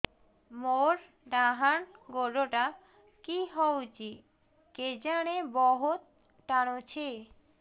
ମୋର୍ ଡାହାଣ୍ ଗୋଡ଼ଟା କି ହଉଚି କେଜାଣେ ବହୁତ୍ ଟାଣୁଛି